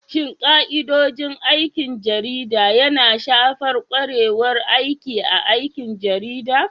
Shin ka'idodin aikin jarida yana shafar ƙwarewar aiki A aikin jarida?